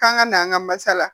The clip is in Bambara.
K'an ka na an ka masala